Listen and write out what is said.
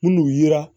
Minnu yera